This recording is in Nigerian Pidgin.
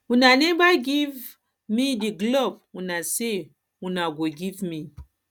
una never give um me the glove una say una go give me